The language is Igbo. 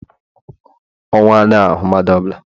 ọnwu adighi-ahu madu ọ bula